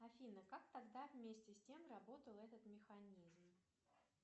афина как тогда вместе с тем работал этот механизм